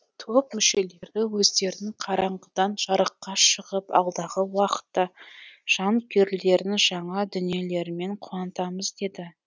топ мүшелері өздерін қараңғыдан жарыққа шығып алдағы уақытта жанкүйерлерін жаңа дүниелерімен қуантамыз деді